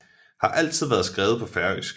Har altid været skrevet på færøsk